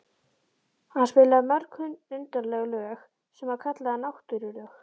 Hann spilaði mörg undarleg lög sem hann kallaði náttúrulög.